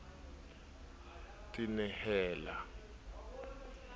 ne a se a tenehela